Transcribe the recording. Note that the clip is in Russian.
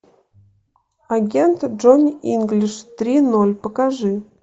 агент джонни инглиш три ноль покажи